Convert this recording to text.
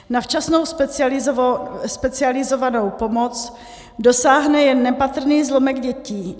Na včasnou specializovanou pomoc dosáhne jen nepatrný zlomek dětí.